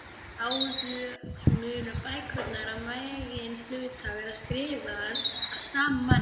Báðar munu bækurnar að meginhluta vera skrifaðar af sama manni.